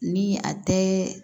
Ni a tɛ